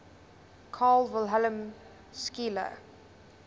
carl wilhelm scheele